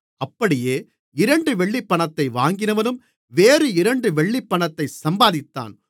அப்படியே இரண்டு வெள்ளிப்பணத்தை வாங்கினவனும் வேறு இரண்டு வெள்ளிப்பணத்தைச் சம்பாதித்தான்